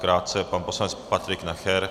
Krátce pan poslanec Patrik Nacher.